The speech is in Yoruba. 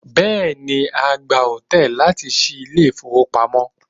Bẹ́ẹ̀ni, a gba òǹtẹ̀ láti ṣí ilé ìfowópamọ́.